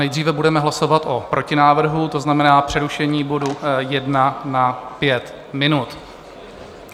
Nejdříve budeme hlasovat o protinávrhu, to znamená přerušení bodu 1 na pět minut.